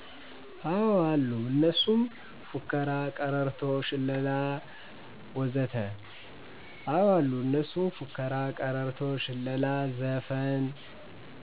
አዎ አሉ እነሱም፦ ፉከረ፣ ቀረርቶ፣ ሽለላ... ወዘተ